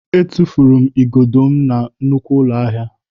Etufuru m igodo m na nnukwu ụlọ ahịa.